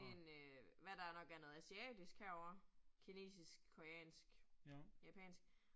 1 øh hvad der nok er noget asiatisk herovre, kinesisk, koreansk, japansk